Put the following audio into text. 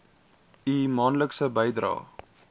u maandelikse bydraes